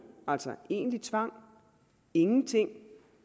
altså egentlig tvang 2 ingenting